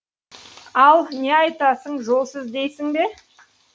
ал не айтасың жолсыз дейсің бе